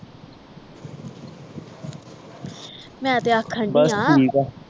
ਮੈਂ ਤੇ ਆਖਣ ਡਈ ਆ ਬਸ ਠੀਕ ਆ